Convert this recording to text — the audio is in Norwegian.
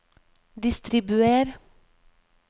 distribuer